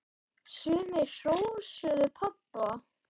Sumir hrósuðu pabba fyrir bókina.